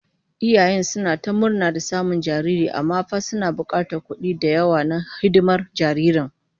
Iyayen suna ta murna da samun jariri, amma fa suna bukatar kudi da yawa na hidimar jaririn